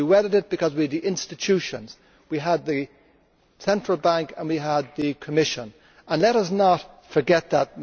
We weathered it because we had the institutions, we had the Central Bank and we had the Commission and let us not forget that.